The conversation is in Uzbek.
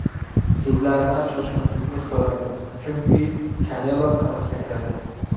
Sizlardan shoshmaslikni so‘rardim, chunki Kanelo tarixga kiradi.